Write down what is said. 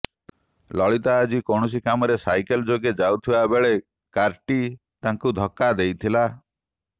ଲଳିତ ଆଜି କୌଣସି କାମରେ ସାଇକେଲ୍ ଯୋଗେ ଯାଉଥିବା ବେଳେ କାର୍ଟି ତାଙ୍କୁ ଧକ୍କା ଦେଇଥିଲା